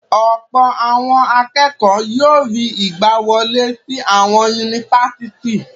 Ọ̀pọ̀ àwọn akẹ́kọ̀ọ́ yóò rí ìgbàwọlé sí àwọn yunifásítì.